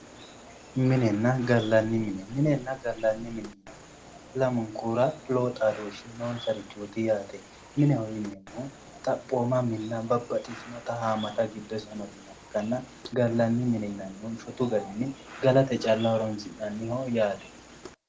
Minenna gallanni mine, minenna gallanni minira lamunkura lowo xaadooshshi noosarichooti yaate mineho yineemmohu xaphooma minna babbaxxitinota giddose haammata minna amadinoha ikkanna gallanni mine yinannihu shotu garinni galate calla horonsi'nanniho.